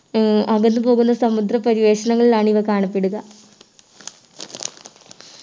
ഉം അകന്നു പോകുന്ന സമുദ്ര പരിവേഷണങ്ങളിലാണ് ഇവ കാണപ്പെടുക